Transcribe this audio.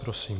Prosím.